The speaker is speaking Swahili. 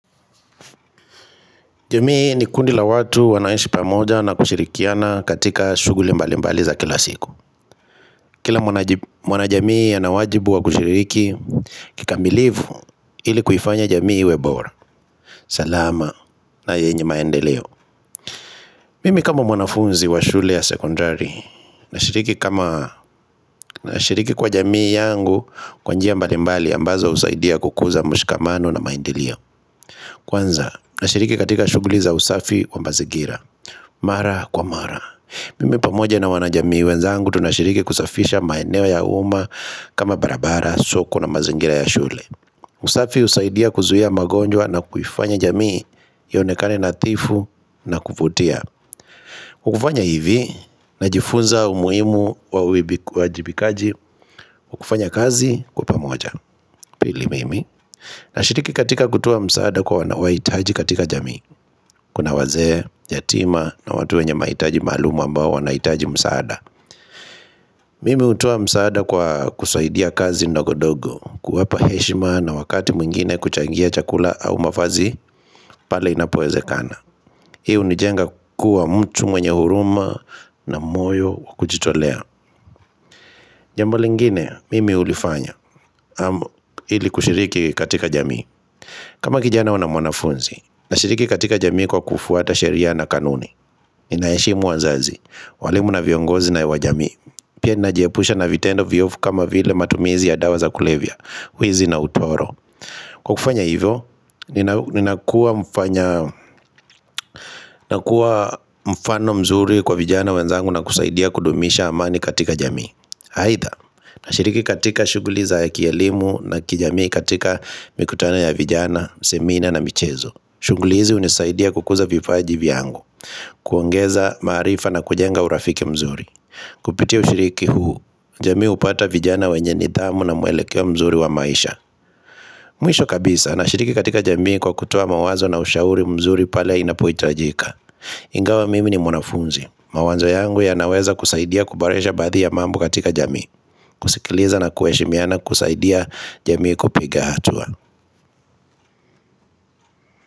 Jamii ni kundila watu wanaishi pamoja na kushirikiana katika shughuli mbalimbali za kila siku Kila mwana jamii ya nawajibu wa kushiriki kikambilivu ili kufanya jamii webora salama na yenye maendeleo Mimi kama mwanafunzi wa shule ya secondary na shiriki kwa jamii yangu kwanjia mbalimbali ambazo usaidia kukuza mshikamano na maendilio Kwanza nashiriki katika shughuli za usafi wa mbazigira Mara kwa mara mimi pamoja na wanajamii wenzangu tunashiriki kusafisha maenewa ya umma kama barabara, soko na mazingira ya shule usafi usaidia kuzuhia magonjwa na kufanya jamii yonekane na tifu na kufutia Ukufanya hivi na jifunza umuhimu wa ujibikaji, ukufanya kazi kupa moja, pili mimi Nashiriki katika kutua msaada kwa wanawaitaji katika jamii Kuna waze, yatima na watu wenye maitaji malumu ambao wanaitaji msaada Mimi utuwa msaada kwa kusaidia kazi ndago dogo kuwapa heshima na wakati mwingine kuchangia chakula au mafazi Pala inapoeze kana. Hii nijenga kuwa mtu mwenye huruma na moyo wakuchitolea Jambo lingine, mimi ulifanya Hili kushiriki katika jamii kama kijana wana mwanafunzi Nashiriki katika jamii kwa kufuata sheria na kanuni Ninaeshi muwazazi walimu na viongozi na wajamii Pia najepusha na vitendo viofu kama vile matumizi ya dawa za kulevia Huizi na utoro Kwa kufanya hivyo, nina kuwa mfano mzuri kwa vijana wenzangu na kusaidia kudumisha amani katika jamii Haitha, na shiriki katika shuguliza ya kielimu na kijamii katika mikutana ya vijana, semina na michezo Shughulizi unisaidia kukuza vipaja jiviangu kuongeza maarifa na kujenga urafiki mzuri Kupitia ushiriki huu, jamii upata vijana wenye nidhamu na muelekea mzuri wa maisha Mwisho kabisa na shiriki katika jamii kwa kutoa mawazo na ushauri mzuri pale inapoi trajika Ingawa mimi ni mwanafunzi, mawazo yangu ya naweza kusaidia kubarisha badhi ya mambu katika jamii kusikiliza na kueshimiana kusaidia jamii kupiga hatua.